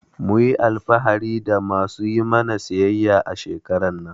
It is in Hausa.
Mhn yi alfahari da ma su yi mana siyayya a shekarar nan.